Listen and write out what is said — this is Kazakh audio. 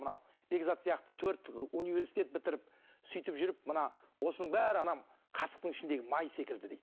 мынау бекзат сияқты ыыы төрт университет бітіріп сөйтіп жүріп мына осының бәрі анау қасықтың ішіндегі май секілді дейді